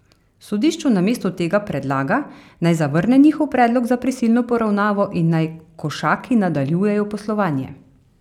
Sodišču namesto tega predlaga, naj zavrne njihov predlog za prisilno poravnavo in naj Košaki nadaljujejo poslovanje.